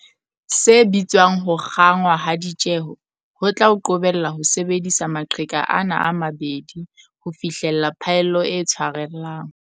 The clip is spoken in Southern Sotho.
Se bitswang ho kgangwa ha ditjeho ho tla o qobella ho sebedisa maqheka ana a mabedi ho fihlella phaello e tshwarellang.